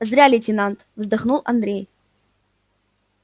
зря лейтенант вздохнул андрей